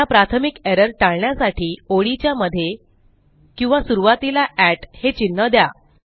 ह्या प्राथमिक एरर टाळण्यासाठी ओळीच्या मध्ये किंवा सुरूवातीला हे चिन्ह द्या